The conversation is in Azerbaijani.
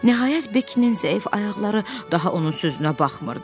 Nəhayət Bekinin zəif ayaqları daha onun sözünə baxmırdı.